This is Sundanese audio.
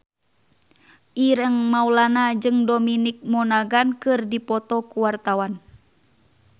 Ireng Maulana jeung Dominic Monaghan keur dipoto ku wartawan